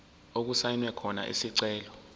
okusayinwe khona isicelo